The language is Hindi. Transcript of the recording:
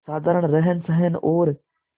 साधारण रहनसहन और